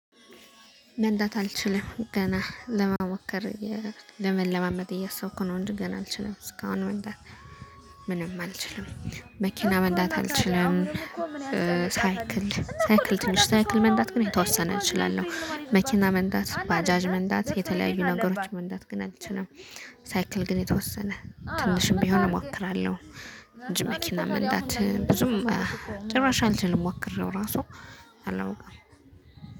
መንዳት አልችልም ገና ለመሞከር ለመለማመድ እያሰብኩ ነው እንጂ ገና አልችልም እስካሁን መንዳት ምንም አልችልም መኪና መንዳት አልችልም። ሳይክል ትንሽ ሳይክል መንዳት ግን የተወሰነ እችላለሁ መኪና መንዳት ባጃጅ መንዳት የተለያዩ ነገሮች መንዳት ግን አልችልም። ሳይክል ግን የተወሰነ ትንሽም ቢሆን እሞክራለሁ እንጂ መኪና መንዳት ብዙም ጭራሽ አልተሞክሬው ራሱ አላውቅም